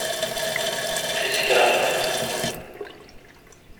джессика альба